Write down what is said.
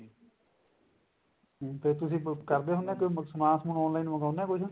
ਤੇ ਫੇਰ ਤੁਸੀਂ ਕਰਦੇ ਹੁੰਦੇ ਕੋਈ ਸਮਾਨ ਸਮੂਨ online ਮੰਗਵਾਉਂਦੇ ਓ ਕੁੱਝ